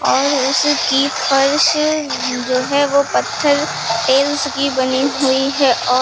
और उसकी फर्श जो है वो पत्थर टेल्स की बनी हुई है और--